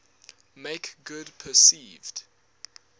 make good perceived